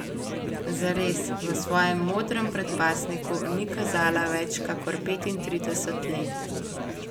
Zares, v svojem modrem predpasniku ni kazala več kakor petintrideset let.